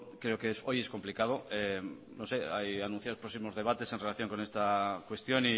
creo que hoy es complicado no sé anunciar próximos debates en relación con esta cuestión